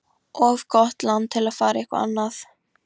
Of gott land til að fara eitthvað annað.